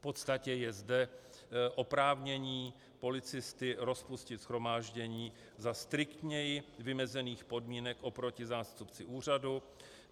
V podstatě je zde oprávnění policisty rozpustit shromáždění za striktněji vymezených podmínek oproti zástupci úřadu.